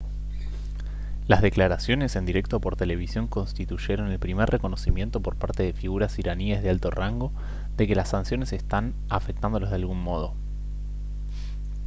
las declaraciones en directo por televisión constituyeron el primer reconocimiento por parte de figuras iraníes de alto rango de que las sanciones están afectándolos de algún modo